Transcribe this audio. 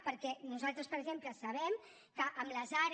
perquè nosaltres per exemple sabem que amb les are